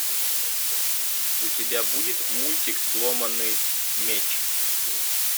у тебя будет мультик сломанный меч